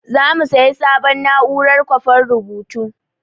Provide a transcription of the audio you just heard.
Za mu sayi sabon na'urar kwafan rubutu.